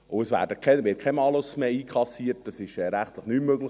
Es wird kein Malus mehr einkassiert, dies ist rechtlich nicht mehr möglich.